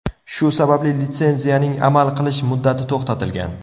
Shu sababli litsenziyaning amal qilish muddati to‘xtatilgan.